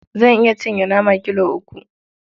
Zan iya cinye nama kilo uku.